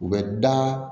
U bɛ da